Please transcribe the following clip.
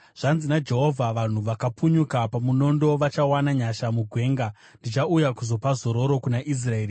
Zvanzi naJehovha: “Vanhu vakapunyuka pamunondo vachawana nyasha mugwenga; ndichauya kuzopa zororo kuna Israeri.”